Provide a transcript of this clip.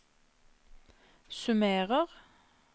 summerer